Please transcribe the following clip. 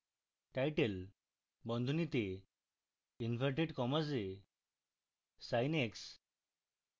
title বন্ধনীতে inverted commas এ sin x